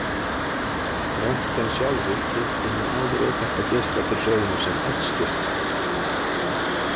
Röntgen sjálfur kynnti hinn áður óþekkta geisla til sögunnar sem X-geisla.